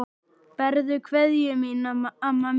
Berðu kveðju mína, amma mín.